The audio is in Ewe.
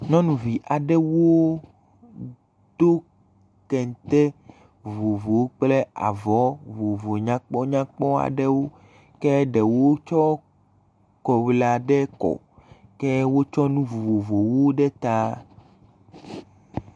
Nyɔnuvi aɖewo do kente vovovowo kple avɔ vovovo nyakpɔnyakpɔ aɖewo ke ɖewo tsɔ kɔwlu aɖewo kɔ ke wotsɔ nu vovovowo ɖe ta.